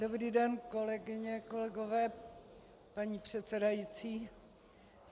Dobrý den, kolegyně, kolegové, paní předsedající.